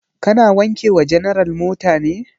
Ka na wanke wa general mota ne?